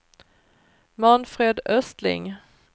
Manfred Östling